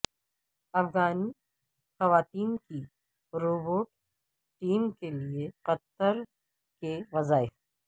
افغان خواتین کی robotic team کے لیے قطر کے وظائف